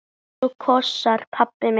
Knús og kossar, pabbi minn.